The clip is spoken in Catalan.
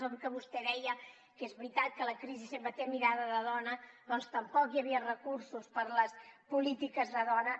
avui que vostè deia que és veritat que la crisi sempre té mirada de dona doncs tampoc hi havia recursos per a les polítiques de dona